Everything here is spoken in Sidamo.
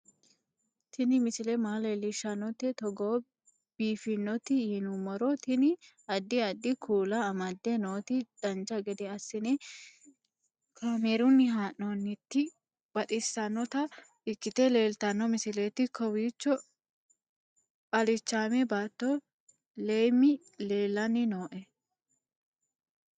Tini misile maa leellishshannote togo biiffinoti yinummoro tini. addi addi kuula amadde nooti dancha gede assine kaamerunni haa'noonniti baxissannota ikkite leeltanno misileeti kowicho alichaame baatto leemmi leellanni nooe